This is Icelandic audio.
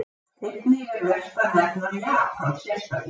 Einnig er vert að nefna Japan sérstaklega.